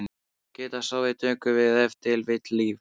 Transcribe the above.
Til að geta sofið tökum við ef til vill lyf.